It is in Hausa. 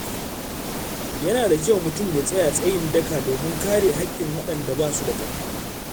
Yana da kyau mutum ya tsaya tsayin daka domin kare haƙƙin waɗanda ba su da ƙarfi.